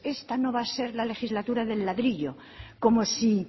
esta no va a ser la legislatura del ladrillo como si